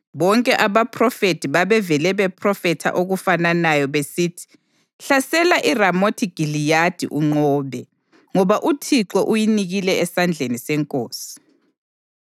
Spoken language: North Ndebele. Bonke abaphrofethi babevele bephrofetha okufananayo besithi, “Hlasela iRamothi Giliyadi unqobe, ngoba uThixo uyinikile esandleni senkosi.”